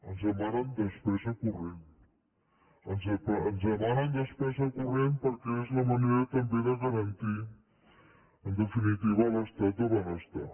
ens demanen despesa corrent ens demanen despesa corrent perquè és la manera també de garantir en definitiva l’estat de benestar